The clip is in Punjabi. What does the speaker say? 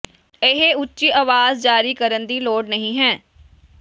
ਇਹ ਉੱਚੀ ਆਵਾਜ਼ ਜਾਰੀ ਕਰਨ ਦੀ ਲੋੜ ਨਹੀ ਹੈ